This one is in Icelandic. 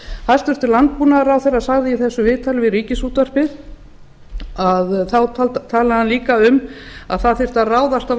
hæstvirtur landbúnaðarráðherra sagði í þessu viðtali við ríkisútvarpið þá talaði hann líka um að það þyrfti að ráðast á